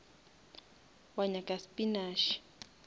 wa nyaka spinash